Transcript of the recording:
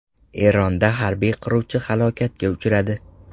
Eronda harbiy qiruvchi halokatga uchradi.